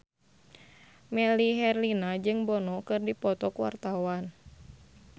Melly Herlina jeung Bono keur dipoto ku wartawan